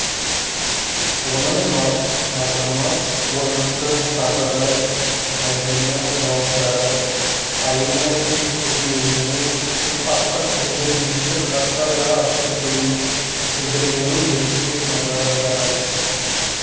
оның мызғымас орнықты сабыры әдемі жауаптары әйелінің тергеуіне түсіп артық сөздер естіп жатса да ашу білдірмеуі еріксіз назар аударады